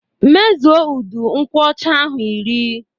Mezue udu nkwocha ahụ iri!